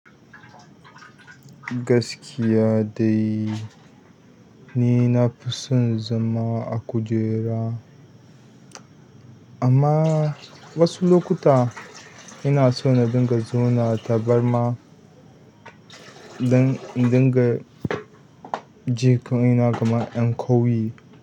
Gaskiya dai ni na fi son zama a kujera, amma wasu lokuta ina so na dinga zauna tabarma don in dinga jinkina gama ɗan ƙauyi.